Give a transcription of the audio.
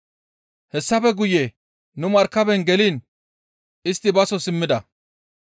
Hessafe guye nu markaben geliin istti baso simmida.